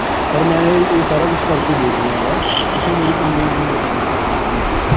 sir ਮੈਂ ਇਹ ਸਾਰਾ ਕੁਸ਼ ਕਰ ਕੇ ਦੇਖ ਲਿਆ ਗਾ ਤੁਸੀ ਮੇਰੀ complaint note ਕਰ ਲਵੋ ਕਰ ਲਓਂਗੇ